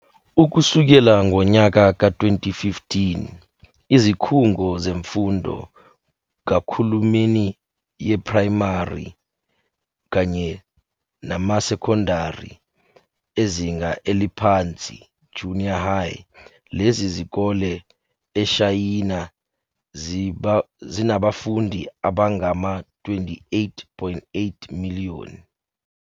Ukusukela ngonyaka ka 2015, izikhungo zemfundo kakhulumeni yeprayimari kanye namasekondari ezinga eliphansi, junior high, lezi zikole eShayina, zinabafundi abangama 28.8 miliyoni.